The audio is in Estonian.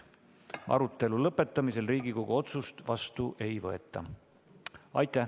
Arutelu lõpus Riigikogu otsust vastu ei võeta.